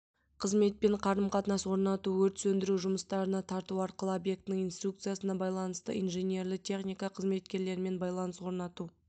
қызметпен қарым-қатынас орнату өрт сөндіру жұмыстарына тарту арқылы объектінің инструкциясына байланысты инжинерлі-техника қызметкерлерімен байланыс орнату